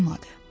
Olmadı.